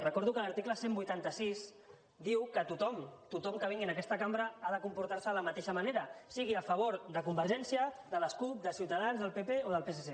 recordo que l’article cent i vuitanta sis diu que tothom tothom que vingui a aquesta cambra ha de comportar se de la mateixa manera sigui a favor de convergència de la cup de ciutadans del pp o del psc